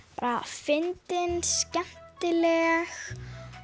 fyndin skemmtileg